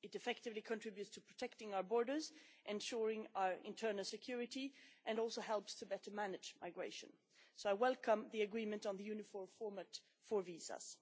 It effectively contributes to protecting our borders, ensuring our internal security and also helps us to better manage migration. So I welcome the agreement on the uniform format for visas.